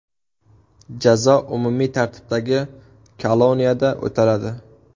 Jazo umumiy tartibdagi koloniyada o‘taladi.